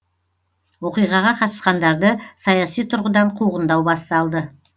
оқиғаға қатысқандарды саяси тұрғыдан қуғындау басталды